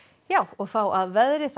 þá að veðri það